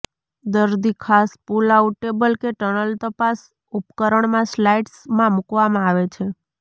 દર્દી ખાસ pull out table કે ટનલ તપાસ ઉપકરણ માં સ્લાઇડ્સ માં મૂકવામાં આવે છે